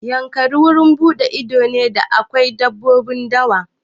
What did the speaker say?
Yankari wurin buɗe ido ne da akwai dabbobin dawa.